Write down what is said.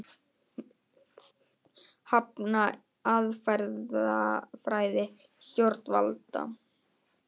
Hafna aðferðafræði stjórnvalda